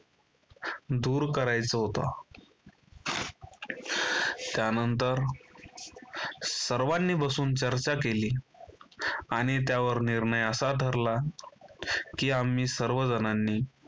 दूर करायचा होता. त्यानंतर सर्वांनी बसून चर्चा केली आणि त्यावर निर्णय असा ठरला की आम्ही सर्व जणांनी